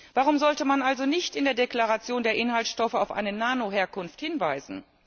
Warum sollte man also nicht in der Deklaration der Inhaltsstoffe auf eine Nano Herkunft hinweisen?